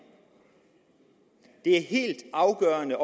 det er helt afgørende